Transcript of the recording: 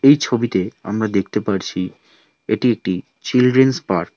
এই ছবিতে আমরা দেখতে পারছি এটি একটি চিলড্রেনস পার্ক ।